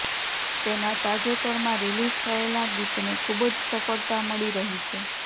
તેના તાજેતરમાં રીલિઝ થયેલા ગીતને ખૂબ જ સફળતા મળી રહી છે